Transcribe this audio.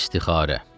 İstixarə.